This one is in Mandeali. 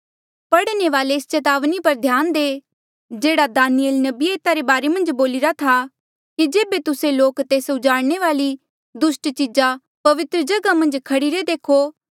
पढ़ने वाले एस चेतावनी पर ध्यान दे जेह्ड़ा दानियल नबिये एता रे बारे मन्झ बोलिरा था कि जेबे तुस्से लोक तेस्सा उजाड़णे वाली दुस्ट चीजा पवित्रजगहा मन्झ खड़ीरे देखो